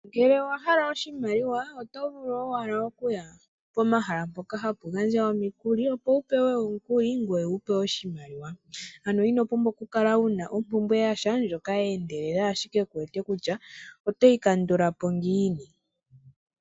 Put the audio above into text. Ngele owa hala oshimaliwa oto vulu owala oku ya komahala mpoka hapu gandja omikuli, opo wu pewe omukuli ngoye wu pewe oshimaliwa. Ano ino pumbwa okukala wu na ompumbwe ya sha ndjono ye endelela, ashike ku wete kutya otoyi kandula po ngiini.